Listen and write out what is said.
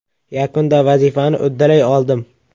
Yakunda vazifani uddalay oldim.